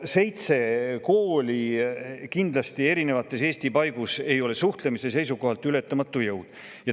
Seitse kooli Eesti eri paigus kindlasti ei ole suhtlemise seisukohalt ületamatu jõud.